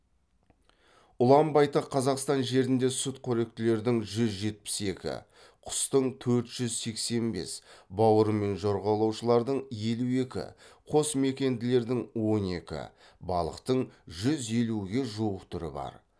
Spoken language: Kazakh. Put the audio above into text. ұлан байтақ қазақстан жерінде сүтқоректілердің жүз жетпіс екі құстың төрт жүз сексен бес бауырымен жорғалаушылардың елу екі қосмекенділердің он екі балықтың жүз елуге жуық түрі бар